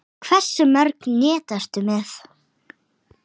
Hversu mörg net ertu með?